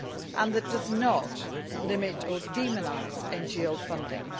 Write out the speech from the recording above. and that does not limit or demonise NGO funding.